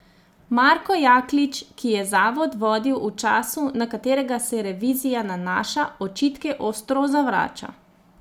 Marko Jaklič, ki je zavod vodil v času, na katerega se revizija nanaša, očitke ostro zavrača.